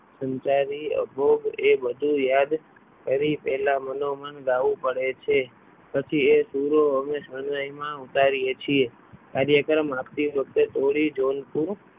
સમજાવી એ બધું યાદ કરી પહેલા મનોમન ગાવું પડે છે પછી એ સૂરો અમે શરણાઈમાં ઉતારીએ છીએ કાર્યક્રમ આપતી વખત